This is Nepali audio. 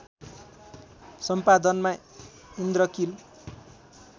सम्पादनमा इन्द्रकील